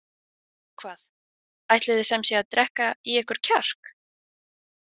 Og hvað, ætliði sem sé að drekka í ykkur kjark?